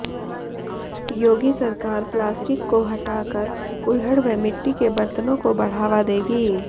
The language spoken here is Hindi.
योगी सरकार प्लास्टिक को हटा कर कुल्हड़ व मिट्टी के बर्तनों को बढ़ावा देगी